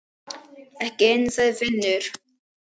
Ekki inni, sagði Finnur.